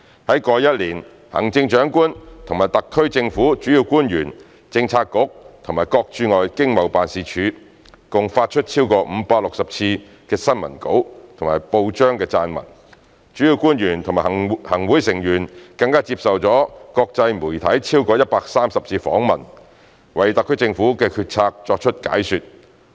在過去一年，行政長官和特區政府主要官員、政策局及各駐外經濟貿易辦事處共發出超過560次的新聞稿及報章撰文，主要官員及行會成員更接受國際媒體超過130次訪問，為特區政府的決策作出解說。